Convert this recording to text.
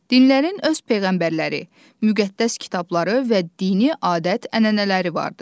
Dinlərin öz peyğəmbərləri, müqəddəs kitabları və dini adət-ənənələri vardır.